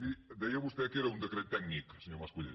miri deia vostè que era un decret tècnic senyor mascolell